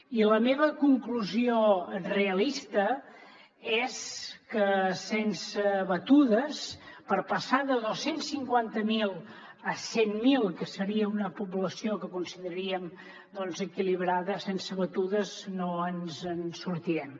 i la meva conclusió realista és que sense batudes per passar de dos cents i cinquanta miler a cent mil que seria una població que consideraríem equilibrada no ens en sortirem